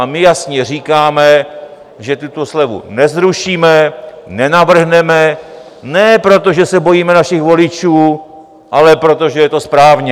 A my jasně říkáme, že tuto slevu nezrušíme, nenavrhneme, ne protože se bojíme našich voličů, ale protože je to správně.